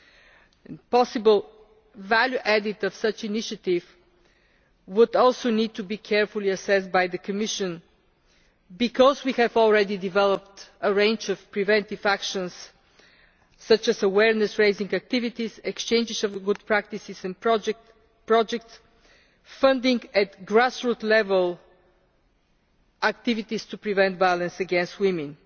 The possible added value of such an initiative would also need to be carefully assessed by the Commission, because we have already developed a range of preventive actions, such as awareness raising activities, exchanges of good practice and project funding at grass roots level activities to prevent violence against women.